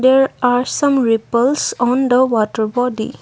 there are some ripples on the water body.